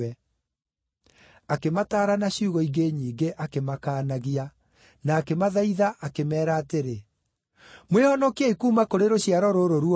Akĩmataara na ciugo ingĩ nyingĩ, akĩmakaanagia; na akĩmathaitha, akĩmeera atĩrĩ, “Mwĩhonokiei kuuma kũrĩ rũciaro rũrũ ruogomu.”